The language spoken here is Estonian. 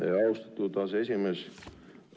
Aitäh, austatud aseesimees!